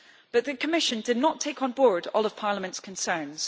But the Commission did not take on board all of Parliament's concerns.